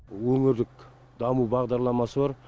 өңірлік даму бағдарламасы бар